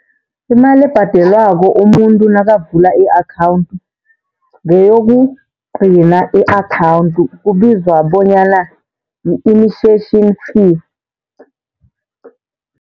Imali ebhadelwako umuntu nakavula i-akhawuntu ngeyokugcina i-akhawuntu kubizwa bonyana yi-initiation fee.